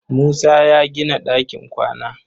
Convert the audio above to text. Musa ya gina ɗakin kwana.